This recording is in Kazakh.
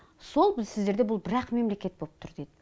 сол бұл сіздерде бұл бір ақ мемлекет боп тұр дейді